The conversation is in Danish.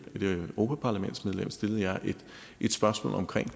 et europaparlamentsmedlem stillede jeg et spørgsmål om